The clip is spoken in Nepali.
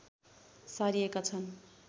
सारिएका छन्